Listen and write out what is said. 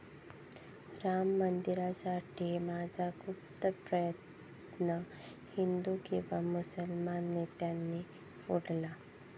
'राम मंदिरासाठीचा माझा गुप्त प्रयत्न हिंदू किंवा मुस्लिम नेत्यांनी फोडला'